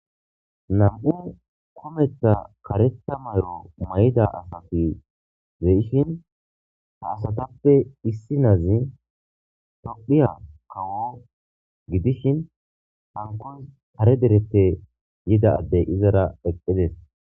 Nam'u kumeththa kareththa mayo mayida asati de'ishin; ha asatappe issinazi tophphiya kawo gidishin hankoy kare dereppe yida addey izara eqqidees.